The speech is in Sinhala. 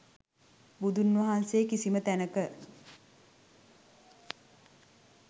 බුදුන් වහන්සේ කිසිම තැනක,